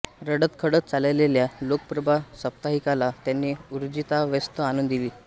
रडतखडत चाललेल्या लोकप्रभा साप्ताहिकाला त्यांनी ऊर्जितावस्था आणून दिली